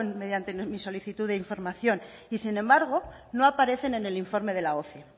mediante mi solicitud de información y sin embargo no aparecen en el informe de la oce